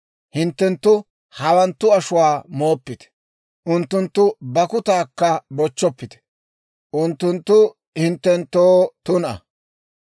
Hintte hawanttu ashuwaa mooppite; unttunttu bakkutaakka bochchoppite; unttunttu hinttenttoo tuna.